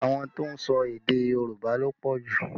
Àwọn tó ń sọ èdè Yorùbá ló pọ̀ jù